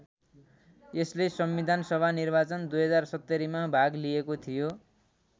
यसले संविधान सभा निर्वाचन २०७० मा भाग लिएको थियो।